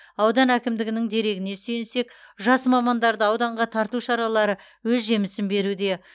аудан әкімдігінің дерегіне сүйенсек жас мамандарды ауданға тарту шаралары өз жемісін беруде